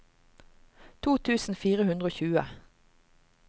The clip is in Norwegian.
to tusen fire hundre og tjue